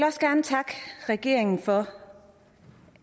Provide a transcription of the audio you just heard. også gerne takke regeringen for